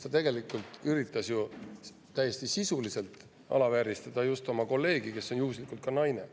Ta üritas ju täiesti sisuliselt alavääristada oma kolleegi, kes juhuslikult on ka naine.